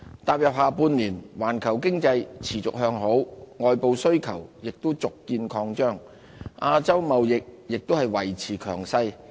踏入下半年，環球經濟持續向好，外部需求亦續見擴張，亞洲貿易亦維持強勢。